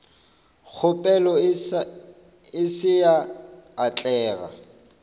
kgopelo e se ya atlega